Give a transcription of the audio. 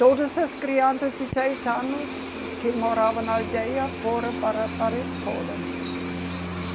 Todas as crianças de seis anos que moravam na aldeia foram para, para a escola, né?